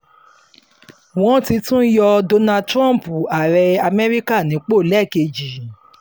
wọ́n ti tún yọ donald trump ààrẹ amẹ́ríkà nípò lẹ́ẹ̀kejì